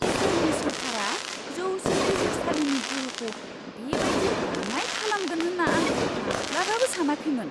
इजराइलनि सोरखारा जौसिन बिजिरसालिनि गोहोखौ बेबायदि बाङाइ खालामगोन होनना आं माब्लाबाबो सानाखैमोन!